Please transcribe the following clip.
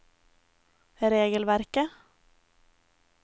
regelverket